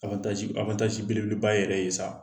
belebeleba yɛrɛ ye sa.